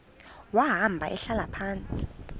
wahamba ehlala phantsi